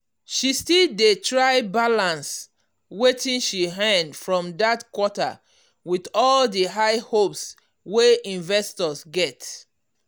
she still dey try balance wetin she earn for that quarter with all the high hopes wey investors get.